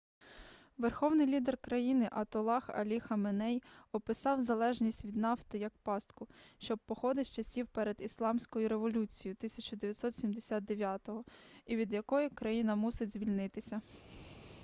верховний лідер країни атоллах алі хаменей описав залежність від нафти як пастку що походить з часів перед ісламською революцією 1979-го і від якої країна мусить звільнитися